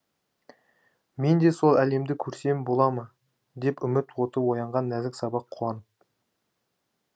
мен де сол әлемді көрсем бола ма деп үміт оты оянған нәзік сабақ қуанып